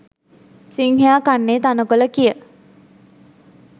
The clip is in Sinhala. සිංහයා කන්නේ තණකොළ කිය